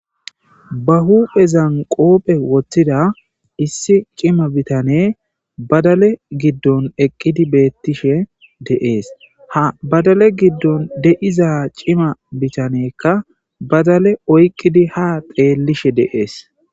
ba huphezan qopphe woththida issi cima bitane badale giddon eqqidi beettishe deees ha badale giddon deiza cima bitanekka badale oyqqidi ha xeellishe deees